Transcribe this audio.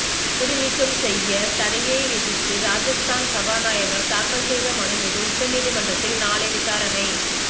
தகுதிநீக்கம் செய்ய தடையை எதிர்த்து ராஜஸ்தான் சபாநாயகர் தாக்கல் செய்த மனு மீது உச்சநீதிமன்றத்தில் நாளை விசாரணை